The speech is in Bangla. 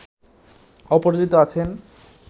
অপরাজিত আছেন